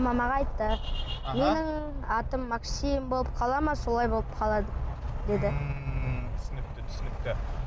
мамаға айтты менің атым максим болып қала ма солай болып қалады деді ммм түсінікті түсінікті